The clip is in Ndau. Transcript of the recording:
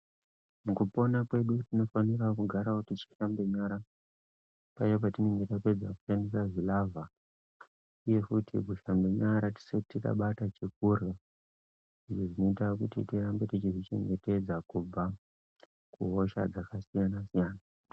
Mukupona kwedu tinofanawo kugara teishamba nyara, paya petinenge tapedza kushandisa zvilavha, uye futi kushamba nyara tisati tabata chekurya izvo zvinoita kuti tirambe teizvichengetedza kubva kuhosha dzakasiyana-siyana.